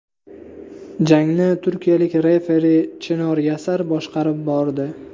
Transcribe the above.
Jangni turkiyalik referi Chinor Yasar boshqarib bordi.